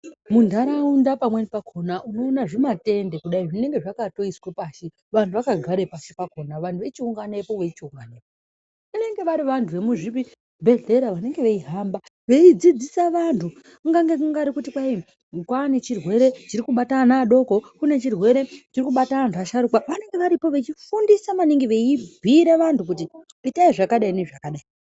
Muntaraunda pamweni pakona unoona zvimatende kudai zvinenge zvakatoiswe pashi, vanhu vakagare pashi pakona. Vanhu vochiunganepo, veichiungana. Vanenge vari vantu vemuzvibhedhlera vanenge veihamba veidzidzisa vantu, kungange kungari kuti kwai kwaa nechirwere chiri kubata ana adoko, kune chirwere chiri kubata antu asharukwa, vanenge varipo vechifundise maningi, veibhuyire vantu kuti itai zvakadai nezvakadai.